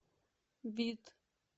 бит